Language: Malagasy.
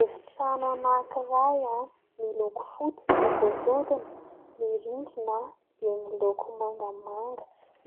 Efitrano anankiray : miloko fotsy ny gorodona, ny rindrina dia miloko mangamanga,